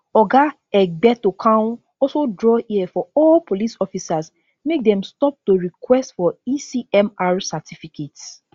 oga egbetokoun also draw ear for all police officers make dem stop to request for ecmr certificates